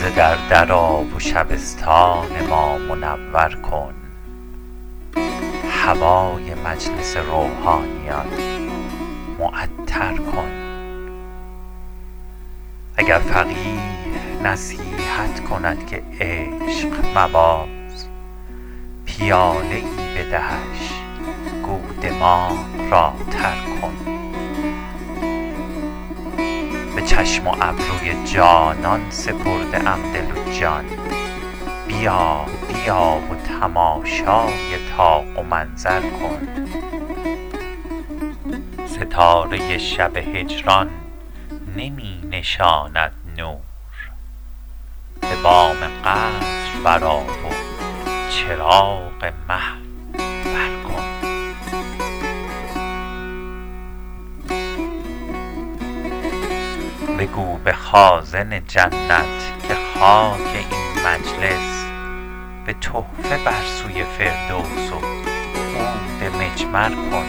ز در در آ و شبستان ما منور کن هوای مجلس روحانیان معطر کن اگر فقیه نصیحت کند که عشق مباز پیاله ای بدهش گو دماغ را تر کن به چشم و ابروی جانان سپرده ام دل و جان بیا بیا و تماشای طاق و منظر کن ستاره شب هجران نمی فشاند نور به بام قصر برآ و چراغ مه بر کن بگو به خازن جنت که خاک این مجلس به تحفه بر سوی فردوس و عود مجمر کن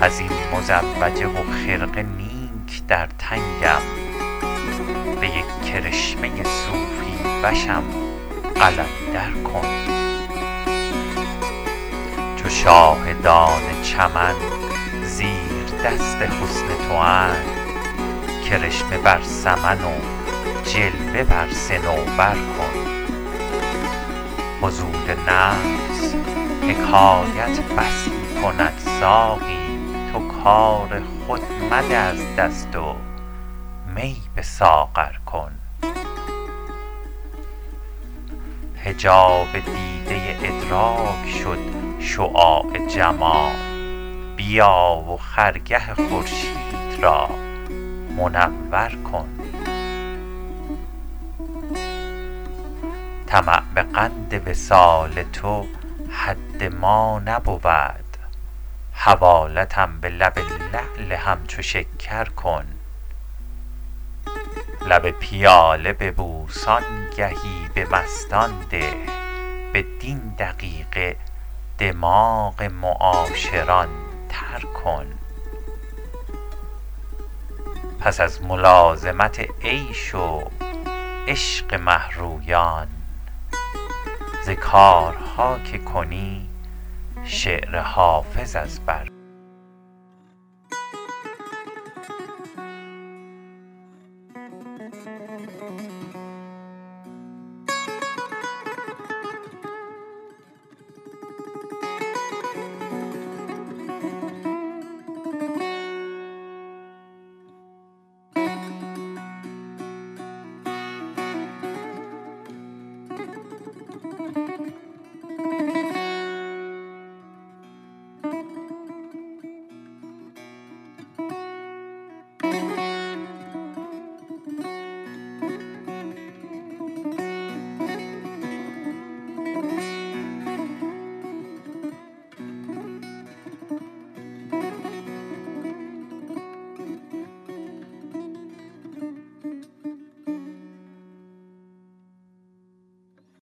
از این مزوجه و خرقه نیک در تنگم به یک کرشمه صوفی وشم قلندر کن چو شاهدان چمن زیردست حسن تواند کرشمه بر سمن و جلوه بر صنوبر کن فضول نفس حکایت بسی کند ساقی تو کار خود مده از دست و می به ساغر کن حجاب دیده ادراک شد شعاع جمال بیا و خرگه خورشید را منور کن طمع به قند وصال تو حد ما نبود حوالتم به لب لعل همچو شکر کن لب پیاله ببوس آنگهی به مستان ده بدین دقیقه دماغ معاشران تر کن پس از ملازمت عیش و عشق مه رویان ز کارها که کنی شعر حافظ از بر کن